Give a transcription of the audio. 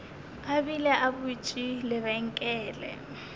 a bile a butše lebenkele